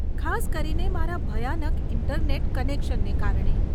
ખાસ કરીને મારા ભયાનક ઈન્ટરનેટ કનેશનને કારણે.